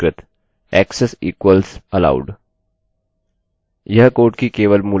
वह कोड की केवल मूलतः अन्य लाइन है